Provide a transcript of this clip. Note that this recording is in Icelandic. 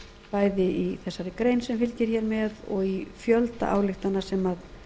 bæði í þessari grein sem fylgir hér með og í fjölda ályktana sem